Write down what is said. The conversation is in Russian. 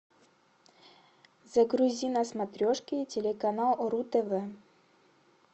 загрузи на смотрешке телеканал ру тв